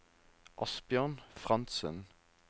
Asbjørn Frantzen